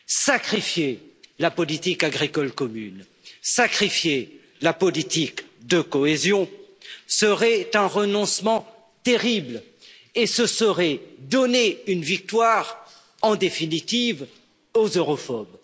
Sacrifier la politique agricole commune, sacrifier la politique de cohésion serait un renoncement terrible et ce serait donner une victoire, en définitive, aux europhobes.